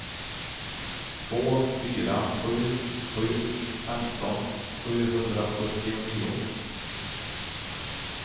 två fyra sju sju femton sjuhundrasjuttionio